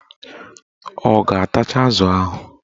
Ọ ga-atacha azụ ahụ